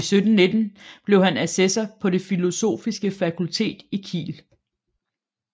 I 1719 blev han assessor på det filosofiske fakultet i Kiel